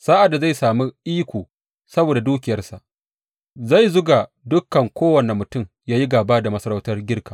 Sa’ad da zai sami iko saboda dukiyarsa, zai zuga dukan kowane mutum yă yi gāba da masarautar Girka.